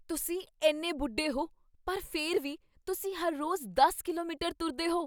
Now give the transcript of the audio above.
ਤੁਸੀਂ ਇੰਨੇ ਬੁੱਢੇ ਹੋ ਪਰ ਫਿਰ ਵੀ, ਤੁਸੀਂ ਹਰ ਰੋਜ਼ ਦਸ ਕਿਲੋਮੀਟਰ ਤੁਰਦੇਹੋ?